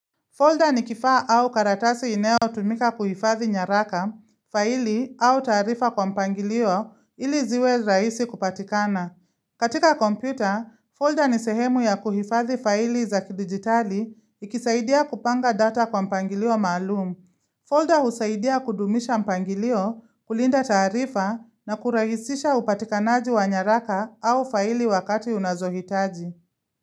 Folder ni kifaa au karatasi inayo tumika kuhifadhi nyaraka, faili au taarifa kwa mpangilio ili ziwe rahisi kupatikana. Katika kompyuta, folder ni sehemu ya kuhifadhi faili za kidigitali ikisaidia kupanga data kwa mpangilio maalumu. Folder husaidia kudumisha mpangilio kulinda taarifa na kurahisisha upatikanaji wa nyaraka au faili wakati unazohitaji.